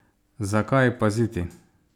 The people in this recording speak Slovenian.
Zakaj paziti?